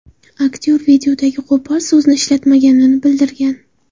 Aktyor videodagi qo‘pol so‘zni aytmaganini bildirgan.